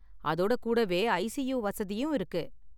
அதோட கூடவே ஐசியூ வசதியும் இருக்கு.